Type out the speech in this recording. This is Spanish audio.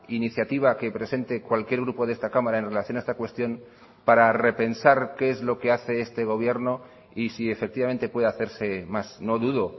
iniciativa que presente cualquier grupo de esta cámara en relación a esta cuestión para repensar qué es lo que hace este gobierno y si efectivamente puede hacerse más no dudo